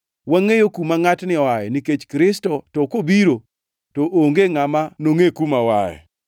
Wangʼeyo kuma ngʼatni oaye nikech Kristo to kobiro, to onge ngʼama nongʼe kuma oaye.”